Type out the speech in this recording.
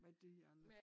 Med dyrene